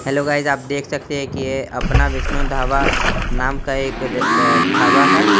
Hello guys आप देख सकते है की ये अपना विष्णु ढाबा नाम का एक अ ढाबा है।